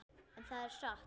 En það er satt.